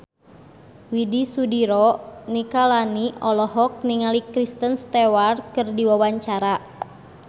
Widy Soediro Nichlany olohok ningali Kristen Stewart keur diwawancara